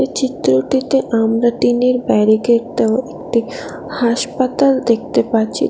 এই চিত্রটিতে আমরা টিনের ব্যারিকেড দেওয়া একটি হাসপাতাল দেখতে পাচ্ছি।